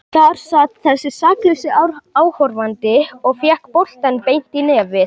Þar sat þessi saklausi áhorfandi og fékk boltann beint í nefið.